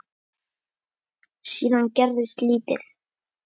Síðan gerist lítið.